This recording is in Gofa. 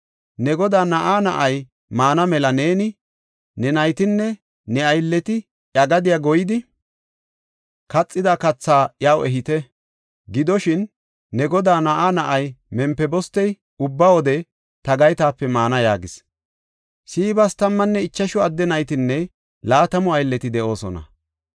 Ne godaa na7aa na7ay maana mela neeni, ne naytinne ne aylleti iya gadiya goyidi, kaxida kathaa iyaw ehite. Gidoshin, ne godaa na7aa na7ay Mempibostey ubba wode ta gaytape maana” yaagis. Siibas tammanne ichashu adde naytinne laatamu aylleti de7oosona.